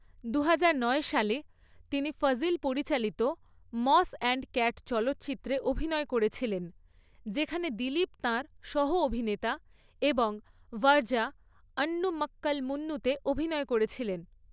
দুহাজার নয় সালে, তিনি ফজিল পরিচালিত মস অ্যান্ড ক্যাট চলচ্চিত্রে অভিনয় করেছিলেন, যেখানে দিলীপ তাঁর সহ অভিনেতা এবং ভার্যা অন্নু মাক্কাল মুন্নুতে অভিনয় করেছিলেন।